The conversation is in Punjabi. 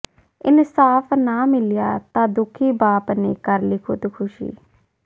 ਇਨਸਾਫ਼ ਨਾ ਮਿਲਿਆ ਤਾਂ ਦੁਖੀ ਬਾਪ ਨੇ ਕਰ ਲਈ ਖ਼ੁਦਕੁਸ਼ੀ